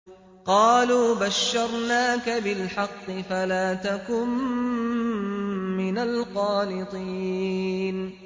قَالُوا بَشَّرْنَاكَ بِالْحَقِّ فَلَا تَكُن مِّنَ الْقَانِطِينَ